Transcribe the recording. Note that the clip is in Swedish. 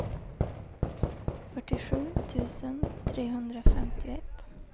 fyrtiosju tusen trehundrafemtioett